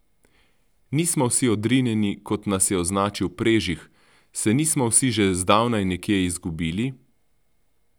Nismo vsi odrinjeni, kot nas je označil Prežih, se nismo vsi že zdavnaj nekje zgubili?